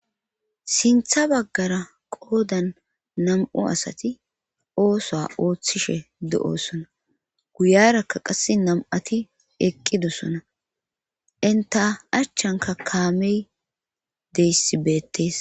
Sintha baggara qoodan nam7u asati ooso ooththishe de7osona guyarakka qasse nam7ati eqqidossona inta achchanka kaamey deyssibeettees.